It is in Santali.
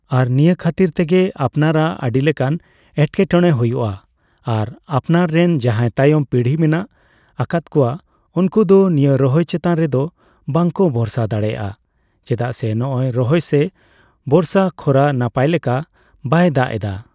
ᱟᱨ ᱱᱤᱭᱟᱹ ᱠᱷᱟᱹᱛᱤᱨ ᱛᱮᱜᱮ ᱟᱯᱱᱟᱨᱟᱜ ᱟᱰᱤᱞᱮᱠᱟᱱ ᱮᱴᱠᱮᱴᱚᱲᱮ ᱦᱳᱭᱳᱜᱼᱟ ᱾ ᱟᱨ ᱟᱯᱱᱟᱨ ᱨᱮᱱ ᱡᱟᱦᱟᱸᱭ ᱛᱟᱭᱚᱢ ᱯᱤᱲᱦᱤ ᱢᱮᱱᱟᱜ ᱟᱠᱟᱫ ᱠᱚᱣᱟ ᱩᱱᱠᱩ ᱫᱚ ᱱᱤᱭᱟᱹ ᱨᱚᱦᱚᱭ ᱪᱮᱛᱟᱱ ᱨᱮ ᱫᱚ ᱵᱟᱠᱚ ᱵᱷᱚᱨᱥᱟ ᱫᱟᱲᱮᱭᱟᱜᱼᱟ ᱾ ᱪᱮᱫᱟᱜ ᱥᱮ ᱱᱚᱜᱼᱚᱭ ᱨᱚᱦᱚᱭ ᱥᱮ ᱵᱚᱨᱥᱟ ᱠᱷᱚᱨᱟ ᱱᱟᱯᱟᱭᱞᱮᱠᱟ ᱵᱟᱭ ᱫᱟᱜᱽ ᱮᱫᱟ ᱾